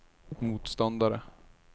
motståndare